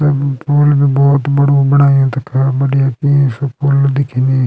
यमु पूल भी भोत बडू बणायु तख बढ़िया पुल दिखेणी।